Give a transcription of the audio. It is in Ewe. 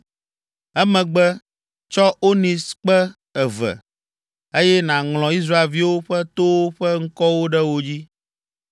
Emegbe tsɔ onikskpe eve, eye nàŋlɔ Israelviwo ƒe towo ƒe ŋkɔwo ɖe wo dzi.